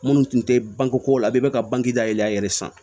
Minnu tun tɛ banke ko la bɛɛ bɛ ka banki da yɛlɛ a yɛrɛ ye sisan